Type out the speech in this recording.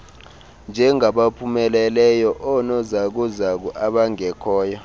njengabaphumeleleyo oonozakuzaku abangekhoyo